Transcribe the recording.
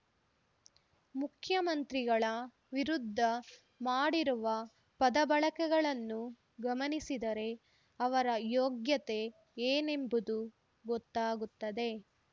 ಮುಖ್ಯಮಂತ್ರಿಗಳ ವಿರುದ್ಧ ಮಾಡಿರುವ ಪದಬಳಕೆಗಳನ್ನು ಗಮನಿಸಿದರೆ ಅವರ ಯೋಗ್ಯತೆ ಏನೆಂಬುದು ಗೊತ್ತಾಗುತ್ತದೆ